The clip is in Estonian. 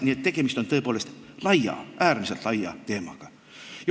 Nii et tegemist on tõepoolest laia, äärmiselt laia teemaga.